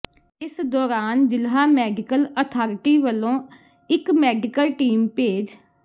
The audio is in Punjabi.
ਇਸ ਦੌਰਾਨ ਜ਼ਿਲ੍ਹਾ ਮੈਡੀਕਲ ਅਥਾਰਟੀ ਵੱਲੋਂ ਇਕ ਮੈਡੀਕਲ ਟੀਮ ਭੇਜ